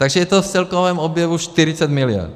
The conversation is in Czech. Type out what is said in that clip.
Takže je to v celkovém objemu 40 mld.